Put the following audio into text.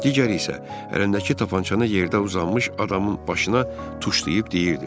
Digəri isə əlindəki tapançanı yerdə uzanmış adamın başına tuşlayıb deyirdi.